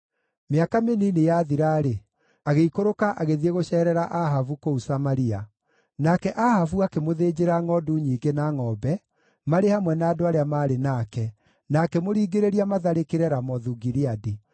Mĩaka mĩnini yathira-rĩ, agĩikũrũka agĩthiĩ gũceerera Ahabu kũu Samaria. Nake Ahabu akĩmũthĩnjĩra ngʼondu nyingĩ na ngʼombe marĩ hamwe na andũ arĩa maarĩ nake, na akĩmũringĩrĩria matharĩkĩre Ramothu-Gileadi.